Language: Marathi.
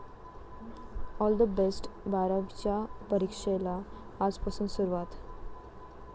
All the best! बारावीच्या परीक्षेला आजपासून सुरुवात